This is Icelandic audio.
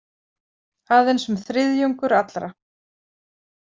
Aðeins um þriðjungur allra.